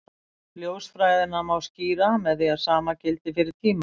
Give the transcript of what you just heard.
Ljósfræðina má skýra með því að sama gildi fyrir tíma.